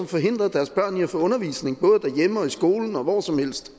forhindrede deres børn i at få undervisning både derhjemme og i skolen ja hvor som helst